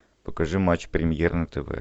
покажи матч премьер на тв